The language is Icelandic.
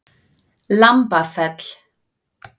Lambafelli